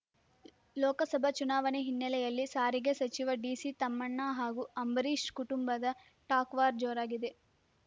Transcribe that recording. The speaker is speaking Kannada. ಲೋಕಸಭಾ ಚುನಾವಣೆ ಹಿನ್ನಲೆಯಲ್ಲಿ ಸಾರಿಗೆ ಸಚಿವ ಡಿಸಿ ತಮ್ಮಣ್ಣ ಹಾಗೂ ಅಂಬರೀಶ್ ಕುಟುಂಬದ ಟಾಕ್‍ವಾರ್ ಜೋರಾಗಿದೆ